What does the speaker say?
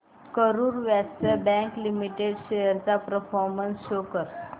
Karur Vysya bank limited shares चा performance show कर